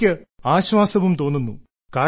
എനിക്ക് ആശ്വാസവും തോന്നുന്നു